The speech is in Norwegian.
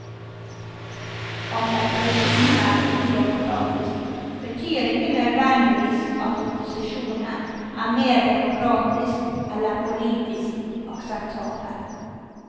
At et regime er udemokratisk, betyr ikke nødvendigvis at opposisjonen er mer demokratisk eller politisk akseptabel.